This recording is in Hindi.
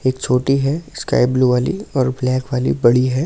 एक छोटी है स्काई ब्लू वाली और ब्लैक वाली बड़ी है।